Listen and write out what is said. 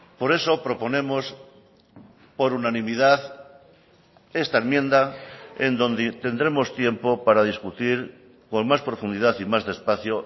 por eso proponemos por unanimidad esta enmienda en donde tendremos tiempo para discutir con más profundidad y más despacio